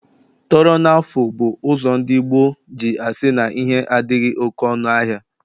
Tọrọ na afụ bụ ụzọ ndị gboo ji asị na ihe adịghị oke ọnụ ahịa.